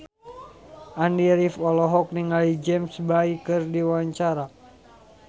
Andy rif olohok ningali James Bay keur diwawancara